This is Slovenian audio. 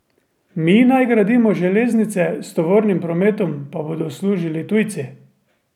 Mi naj gradimo železnice, s tovornim prometom pa bodo služili tujci?